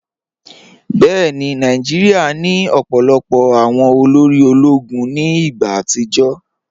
Bẹẹni, Nàìjíríà ni ọ̀pọ̀lọpọ̀ awọn òlórí òló̩gún ní igba àtìjọ́.